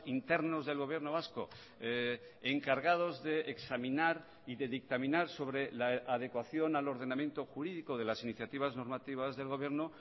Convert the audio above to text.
internos del gobierno vasco encargados de examinar y de dictaminar sobre la adecuación al ordenamiento jurídico de las iniciativas normativas del gobierno